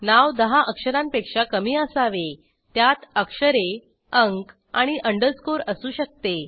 नाव दहा अक्षरांपेक्षा कमी असावे त्यात अक्षरे अंक आणि अंडरस्कोर असू शकते